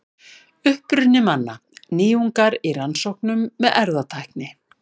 Uppruni manna: Nýjungar í rannsóknum með erfðatækni.